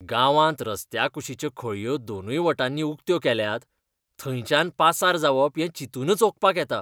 गांवांत रस्त्या कुशिच्यो खळयो दोनूय वटांनी उक्त्यो केल्यात. थंयच्यान पासार जावप हें चिंतूनच ओंकपाक येता.